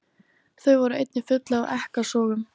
Þau voru einnig full af ekkasogum.